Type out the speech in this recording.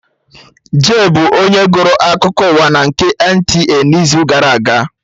Jay bụ onye gụrụ akụkọ ụwa na nke ndị NTA n'izu gara aga